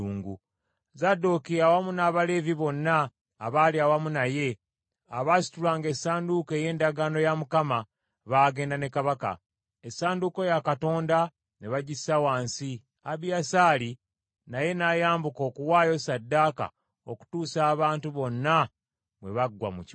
Zadooki awamu n’Abaleevi bonna abaali awamu naye, abaasitulanga essanduuko ey’endagaano ya Mukama , baagenda ne kabaka. Essanduuko ya Katonda ne bagissa wansi, Abiyasaali naye n’ayambuka okuwaayo ssaddaaka okutuusa abantu bonna bwe baggwa mu kibuga.